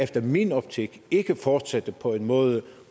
min optik ikke fortsætte på en måde